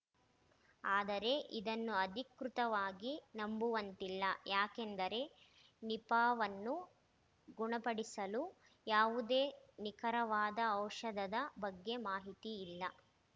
ಆದರೆ ಇದನ್ನು ಅಧಿಕೃತವಾಗಿ ನಂಬುವಂತಿಲ್ಲ ಯಾಕೆಂದರೆ ನಿಪಾವನ್ನು ಗುಣಪಡಿಸಲು ಯಾವುದೇ ನಿಖರವಾದ ಔಷಧದ ಬಗ್ಗೆ ಮಾಹಿತಿ ಇಲ್ಲ